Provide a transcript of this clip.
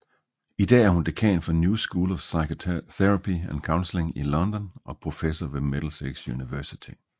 I dag er hun dekan for New School of Psychotherapy and Counselling i London og professor ved Middlesex University